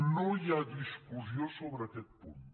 no hi ha discussió sobre aquest punt